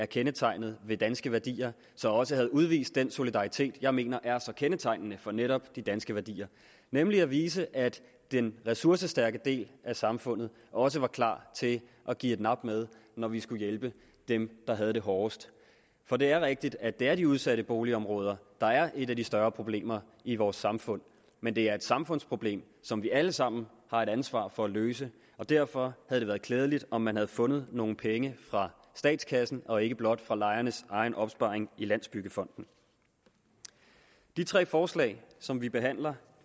kendetegnet ved danske værdier så også havde udvist den solidaritet jeg mener er så kendetegnende for netop de danske værdier nemlig at vise at den ressourcestærke del af samfundet også var klar til at give et nap med når vi skulle hjælpe dem der havde det hårdest for det er rigtigt at det er de udsatte boligområder der er et af de større problemer i vores samfund men det er et samfundsproblem som vi alle sammen har et ansvar for at løse og derfor havde det været klædeligt om man havde fundet nogle penge fra statskassen og ikke blot fra lejernes egen opsparing i landsbyggefonden de tre forslag som vi behandler